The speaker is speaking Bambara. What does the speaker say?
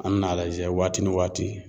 An bɛna a lajɛ waati ni waati